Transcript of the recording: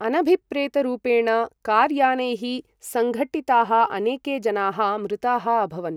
अनभिप्रेतरूपेण कार् यानैः संघट्टिताः अनेके जनाः मृताः अभवन्।